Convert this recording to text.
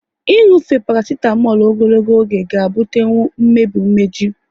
Inufe parasitamolu ogologo oge ga ebutenwu mmebi umeju